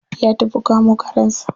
Ya tafi kamo karensa.